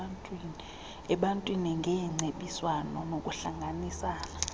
ebantwini ngeengcebiswano nokuhlanganisana